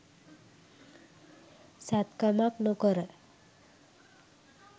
සැත්කමක් නොකර